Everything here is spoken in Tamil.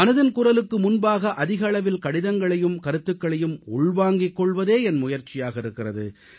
மனதின் குரலுக்கு முன்பாக அதிக அளவில் கடிதங்களையும் கருத்துகளையும் உள்வாங்கிக் கொள்வதே என் முயற்சியாக இருக்கிறது